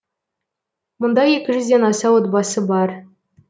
мұнда екі жүзден аса отбасы бар